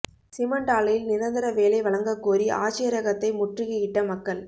cement ஆலையில் நிரந்தர வேலை வழங்கக் கோரி ஆட்சியரகத்தை முற்றுகையிட்ட மக்கள்